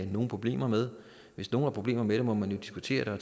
nogen problemer med hvis nogen har problemer med det må man jo diskutere